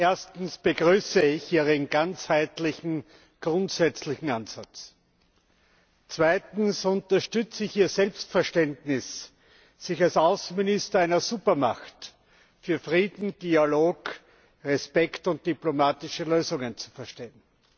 Erstens begrüße ich Ihren ganzheitlichen, grundsätzlichen Ansatz. Zweitens unterstütze ich Ihr Selbstverständnis, sich als Außenminister einer Supermacht für Frieden, Dialog, Respekt und diplomatische Lösungen zu verstehen.